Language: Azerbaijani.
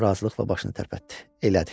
O razılıqla başını tərpətdi.